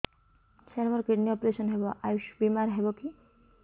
ସାର ମୋର kidney operation ହେବ ଆୟୁଷ ବିମାରେ ହେବ କି